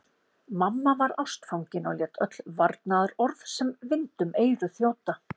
Mamma var ástfangin og lét öll varnaðarorð sem vind um eyru þjóta.